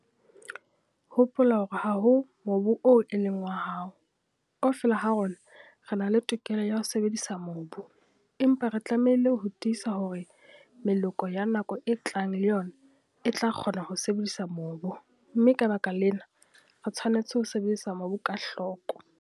Hopola hore ha ho mobu oo e leng wa hao - kaofela ha rona re na le tokelo ya ho sebedisa mobu, empa re tlamehile ho tiisa hore meloko ya nako e tlang le yona e tla kgona ho sebedisa mobu, mme ka baka lena, re tshwanetse ho sebedisa mobu ka hloko.